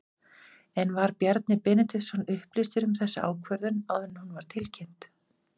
En var Bjarni Benediktsson upplýstur um þessa ákvörðun áður en hún var tilkynnt?